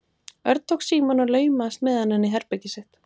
Örn tók símann og laumaðist með hann inn í herbergið sitt.